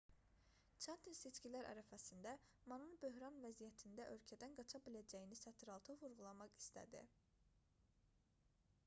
çantin seçkilər ərəfəsində manın böhran vəziyyətində ölkədən qaça biləcəyini sətiraltı vurğulamaq istədi